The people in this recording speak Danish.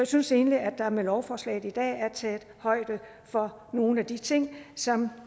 synes egentlig at der med lovforslaget i dag er taget højde for nogle af de ting som